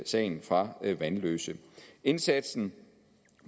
sagen fra vanløse indsatsen